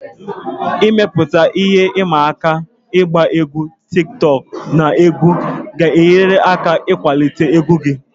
Ịmepụta ihe ịma aka ịgba egwu tiktokụ na egwu gị ga-enyere aka ịkwalite egwu gị